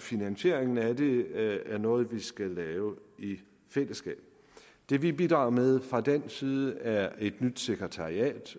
finansieringen af det er noget vi skal lave i fællesskab det vi bidrager med fra dansk side er et nyt sekretariat